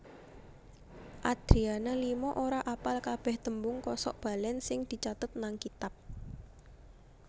Adriana Lima ora apal kabeh tembung kosok balen sing dicatet nang kitab